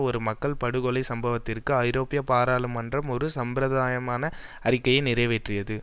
ஒரு மக்கள் படுகொலை சம்பவத்திற்கு ஐரோப்பிய பாராளுமன்றம் ஒரு சம்பிரதாயமான அறிக்கையை நிறைவேற்றியது